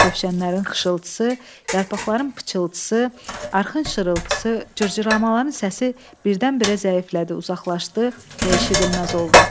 Kövşənlərin xışıltısı, yarpaqların pıçıltısı, arxın şırıltısı, cırcıramaların səsi birdən-birə zəiflədi, uzaqlaşdı və eşidilməz oldu.